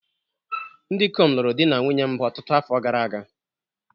Ndị ikom lụrụ di na nwunye mbụ ọtụtụ afọ gara aga